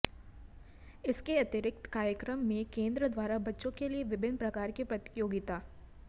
इसके अतिरिक्त कार्यक्रम में केंद्र द्वारा बच्चों के लिए विभिन्न प्रकार की प्रतियोगिता